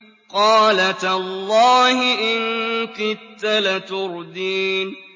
قَالَ تَاللَّهِ إِن كِدتَّ لَتُرْدِينِ